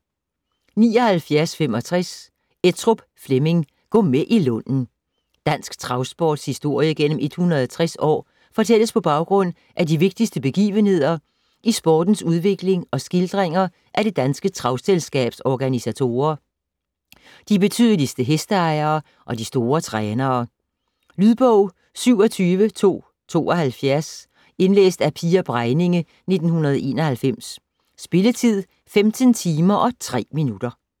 79.65 Ettrup, Flemming: Gå med i Lunden Dansk travsports historie gennem 160 år fortælles på baggrund af de vigtigste begivenheder i sportens udvikling og skildringer af Det Danske Travselskabs organisatorer, de betydeligste hesteejere og de store trænere. Lydbog 27272 Indlæst af Pia Bregninge, 1991. Spilletid: 15 timer, 3 minutter.